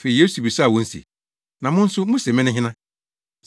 Afei Yesu bisaa wɔn se “Na mo nso, muse mene hena?”